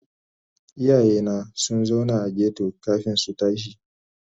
Iyayena sun zauna a ghetto kafin su tashi.